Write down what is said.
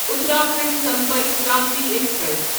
Uttarakhand Sampark Kranti express